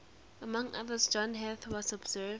among others john heath has observed